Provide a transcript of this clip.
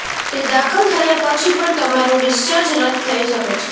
તે દાખલ થયા પછી પણ તમારું ડિસ્ચાર્જ રદ થઈ શકે છે